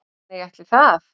Nei ætli það.